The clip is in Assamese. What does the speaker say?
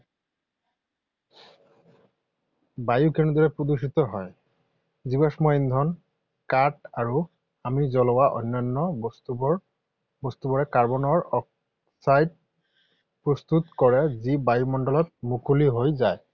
বায়ু কেনেদৰে প্ৰদূষিত হয়? জীৱাশ্ম ইন্ধন, কাঠ আৰু আমি জ্বলোৱা অন্যান্য বস্তুবোৰে কাৰ্বনৰ অক্সাইড প্ৰস্তুত কৰে যি বায়ুমণ্ডলত মুকলি হৈ যায়।